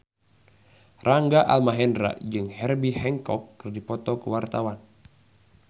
Rangga Almahendra jeung Herbie Hancock keur dipoto ku wartawan